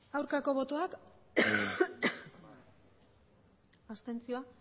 aurkako botoak abstentzioak